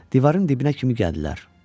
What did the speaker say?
Divarın dibinə kimi gəldilər.